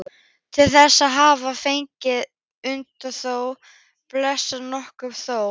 Til þess hafði fengist undanþága á Bessastöðum eftir nokkurt þóf.